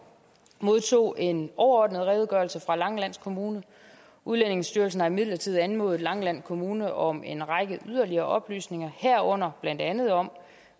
modtog en overordnet redegørelse fra langeland kommune udlændingestyrelsen har imidlertid anmodet langeland kommune om en række yderligere oplysninger herunder blandt andet om